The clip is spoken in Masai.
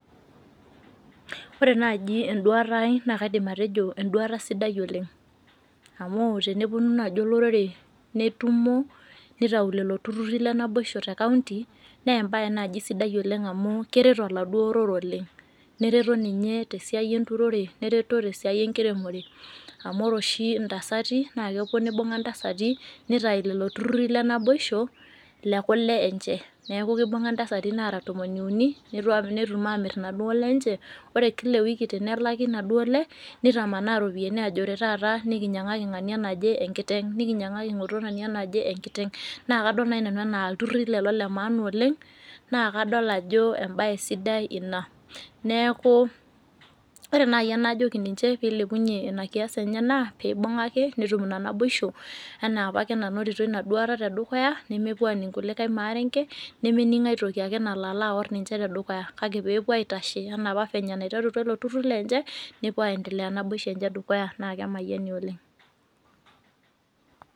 Ore naaji enduata aai naa kaidim atejo Enduata sidai oleng amu tenepuonu naaji olorere netumo neitau lelo tururi onaboisho tenkaonti naa kereto oladuoo orere oleng naa enduata nereto ninye tesiai ererote otesiai enkiremore amu ore oshi intasai naa kepuo neibung'a ntasati neitayu lelo turiri lenaboisho lekule enche neeku keibung'a intasai naara tomon uni netu amir inaduo lele inche ore kila eeeiki tenelaki inaduo le netamanaa iropiyiani aajo ore taata nininyiang'aki ng'ania naje enkiteng nikinyiang'aki ng'oto ngania naje enkiteng naa kadol naaji nanu enaa iltururi lelo lemaaana oleng naa kadol ajo embaye sidai oleng ina neeku ore naaji enajoki ninche peilepunyie nena kias enye naa peibung'a ake netum ina naboisho enaa apake nanotito ina duata tedukuya nemepuo aaning kulikae maarenke nemening aitoki ake nalo alo aaor ninche tedukuya peepuo aitashe enaa apa anaiterutua lelo tururi lenche nepuo aandelea naboisho enye naa kemayiani oleng'.